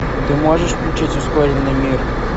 ты можешь включить ускоренный мир